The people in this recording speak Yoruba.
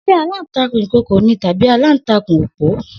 Se alantakun Ikooko ni tabi alantakun opo?